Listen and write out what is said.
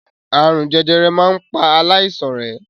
Àrùn jẹjẹrẹ máa ń pa aláìsàn rẹ̀.